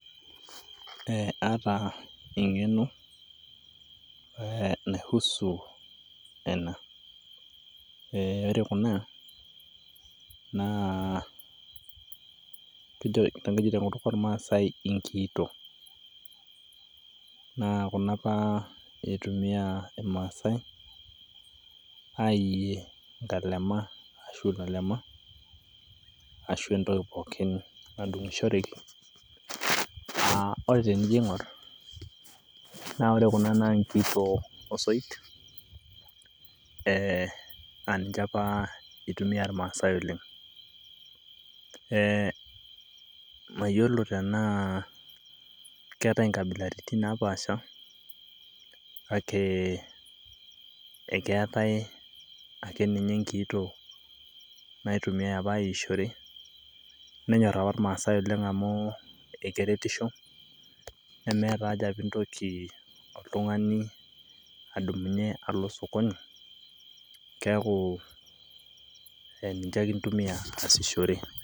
Aaata eng'eno naihusu ena, ore kuna naa kijo te nkutuk olmaasai inkiito, naa kuna apa eitumiyaa ilmaasai aiiye nkalema asho lalema ashu entoki pookin nadung'ushoreki, naa ore tinijo aing'or naa ore kuna naa inkiito osoit naa ninche apa eitumiya ilmaasai oleng. Mayolo tenaa ketai nkabilaritin napaasha kake ekeatai ake ninye inkiito naitumiya apa aiishore nenyorr apa ilmaasai oleng amu ekeretisho nemeeta aja piintoki oltungani adumunye alo sokoni keaku eninche ake intumiya aashishore.